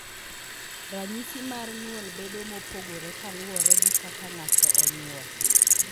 Ranyisi mar nyuol bedo mopogore kaluwore gi kaka ng'ato onyuol.